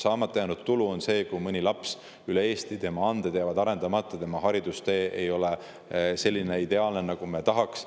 Saamata jäänud tulu tõttu võivad mõne lapse anded jääda arendamata, tema haridustee ei ole nii ideaalne, nagu me tahaks.